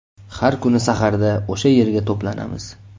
Har kuni saharda o‘sha yerga to‘planamiz.